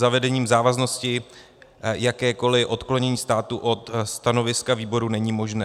Zavedením závaznosti jakékoli odklonění státu od stanoviska výboru není možné.